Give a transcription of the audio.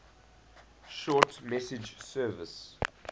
short message service